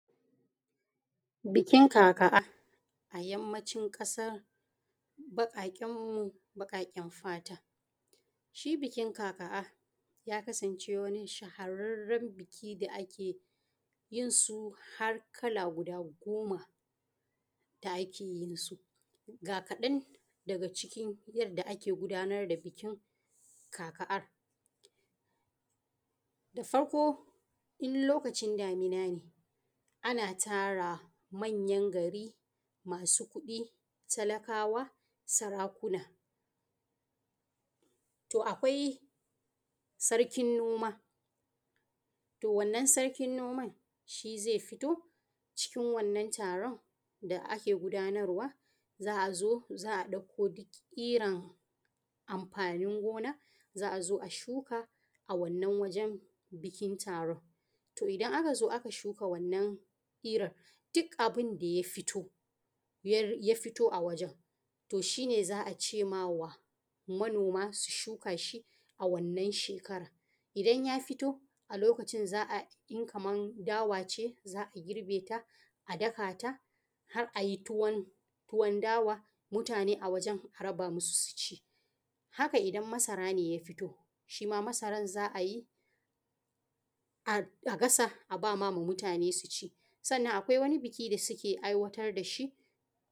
Bikin Kaka, a Yammancin Ƙasar Baƙaƙenmu Baƙaƙen Fata. Shi bikin kaka, ya kasance wani shahararren biki da ake yin su har kala guda goma, da ake yin su. Ga kaɗan daga cikin yadda ake gudanar da bikin kaka: Da farko, in lokacin damina ne, ana tara manyan gari, masu kuɗi, talakawa, sarakuna. To, akwai Sarkin noma, to, wannan Sarkin noman shi zai fito cikin wannan taron da ake gudanarwa. Za a zo, za a ɗauko duk iran amfanin gona, za a zo a shuka a wannan wajen bikin taron. To, idan aka zo aka shuka wannan irin, duk abun da ya fito a wajen, to shi ne za a ce ma wa manoma su shuka shi a wannan shekarar. Idan ya fito, a lokacin za a, in kamar dawa ce, za a girbe ta, a daka ta, har a yi tuwon dawa, mutane a wajen a raba musu su ci. Haka idan masara ne ya fito, shi ma masaran za a yi, a gasa, a ba ma mutane su ci. Sannan akwai wani biki da suke aiwatar da shi.